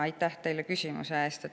Aitäh teile küsimuse eest!